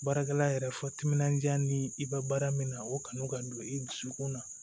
Baarakɛla yɛrɛ fɔ timinanja ni i ka baara min na o kanu ka don i dusukun na